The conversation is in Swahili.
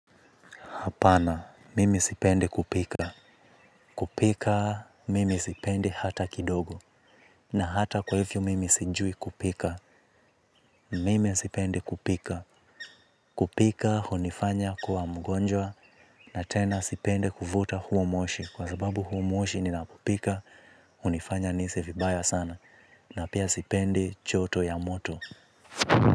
Apana, mimi sipendi kupika, kupika mimi sipendi hata kidogo, na hata kwa hivyo mimi sijui kupika, mimi sipendi kupika, kupika hunifanya kuwa mgonjwa, na tena sipendi kuvuta huo moshi, kwa sababu huo moshi ninapopika, hunifanya nihisi vibaya sana, na pia sipendi joto ya moto.